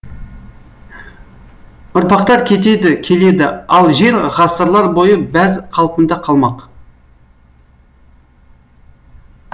ұрпақтар кетеді келеді ал жер ғасырлар бойы бәз қалпында қалмақ